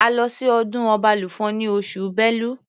A lọ sí ọdún Ọbalùfọ̀n ní oṣù Bélu.